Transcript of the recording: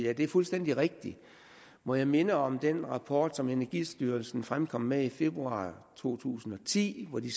er det jo fuldstændig rigtigt må jeg minde om den rapport som energistyrelsen fremkom med i februar to tusind og ti hvor de